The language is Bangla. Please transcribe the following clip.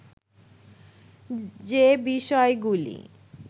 যে বিষয়গুলি